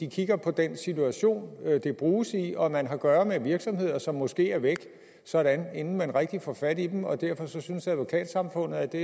kigger på den situation det bruges i og man har at gøre med virksomheder som måske er væk sådan inden man rigtig får fat i dem og derfor synes advokatsamfundet at det